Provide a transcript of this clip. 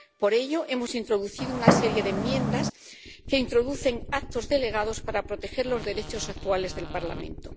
Por ello, hemos introducido una serie de enmiendas que introducen actos delegados para proteger los derechos actuales del Parlamento.